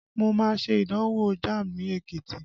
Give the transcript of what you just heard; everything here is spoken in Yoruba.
Mo má ṣe ìdánwò Jamb ní Ekiti